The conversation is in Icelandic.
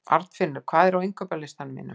Arnfinnur, hvað er á innkaupalistanum mínum?